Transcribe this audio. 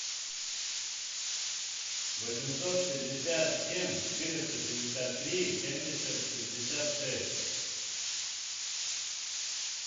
восемьсот пятьдесят семь четыреста шестьдесят три семьдесят шестьдесят шесть